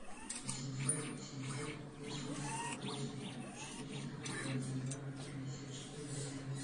восемьсот семьсот восемьдесят восемь четыреста двадцать два пятьдесят четыре восемнадцать